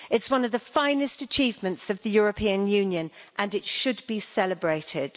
It's one of the finest achievements of the European Union and it should be celebrated.